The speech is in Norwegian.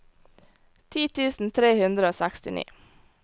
ti tusen tre hundre og sekstini